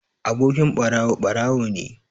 Abokin ɓarawo, ɓarawo ne.